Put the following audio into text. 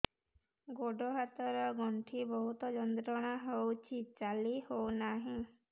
ଗୋଡ଼ ହାତ ର ଗଣ୍ଠି ବହୁତ ଯନ୍ତ୍ରଣା ହଉଛି ଚାଲି ହଉନାହିଁ